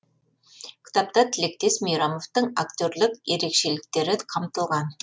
кітапта тілектес мейрамовтың актерлік ерекшеліктері қамтылған